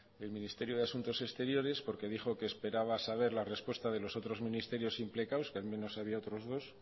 el ministerio de asuntos exteriores porque dijo que esperaba saber la respuesta de los otros ministerios implicados que al menos había otros dos